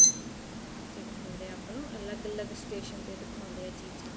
ਜਿਹੜੇ ਹੁੰਦੇ ਏ ਆਪਾਂ ਨੂੰ ਅਲੱਗ ਅਲੱਗ station ਤੇ ਦਿਖਾਉਦੇ ਏ ਚੀਜ਼ਾਂ